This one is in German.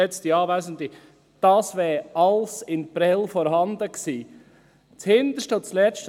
Geschätzte Anwesende, das wäre alles in Prêles vorhanden gewesen – das Hinterste und das Letzte!